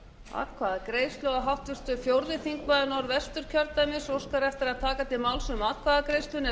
atkvæðagreiðsla og háttvirtur fjórði þingmaður norðvesturkjördæmis óskar eftir að taka til máls um atkvæðagreiðsluna